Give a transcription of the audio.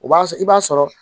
O b'a sɔrɔ i b'a sɔrɔ